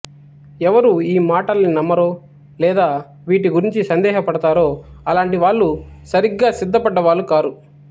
ఎవరు ఈ మాటల్ని నమ్మరో లేదా వీటి గురించి సందేహపడతారో అలాంటి వాళ్ళు సరిగ్గా సిద్ధపడ్డ వాళ్ళు కారు